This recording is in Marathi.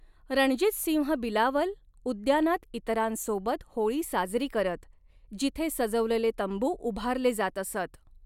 रणजितसिंह बिलावल उद्यानात इतरांसोबत होळी साजरी करत, जिथे सजवलेले तंबू उभारले जात असत.